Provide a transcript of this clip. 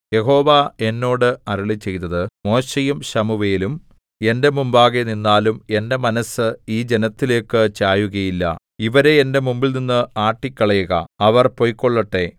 യഹോവ എന്നോട് അരുളിച്ചെയ്തത് മോശെയും ശമൂവേലും എന്റെ മുമ്പാകെ നിന്നാലും എന്റെ മനസ്സ് ഈ ജനത്തിലേക്കു ചായുകയില്ല ഇവരെ എന്റെ മുമ്പിൽനിന്ന് ആട്ടിക്കളയുക അവർ പൊയ്ക്കൊള്ളട്ടെ